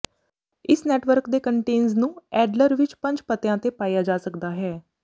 ਇਸ ਨੈਟਵਰਕ ਦੇ ਕੰਟੇਨਜ਼ ਨੂੰ ਐਡਲਰ ਵਿਚ ਪੰਜ ਪਤਿਆਂ ਤੇ ਪਾਇਆ ਜਾ ਸਕਦਾ ਹੈ